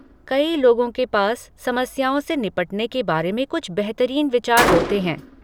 कई लोगों के पास समस्याओं से निपटने के बारे में कुछ बेहतरीन विचार होते हैं।